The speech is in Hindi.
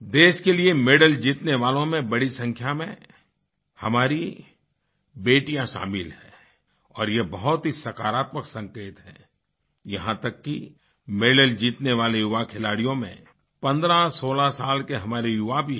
देश के लिए मेडल जीतने वालों में बढ़ी संख्या में हमारी बेटियाँ शामिल हैं और ये बहुत ही सकारात्मक संकेत है यहाँ तक कि मेडल जीतने वाले युवा खिलाड़ियों में 1516 साल के हमारे युवा भी हैं